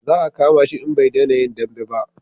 Za a kama shi in bai dena yin dambe ba